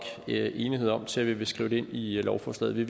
enighed om til at vi vil skrive det ind i lovforslaget vi